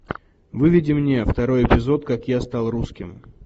выведи мне второй эпизод как я стал русским